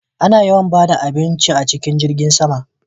A na yawan bada abinci a cikin jirgin sama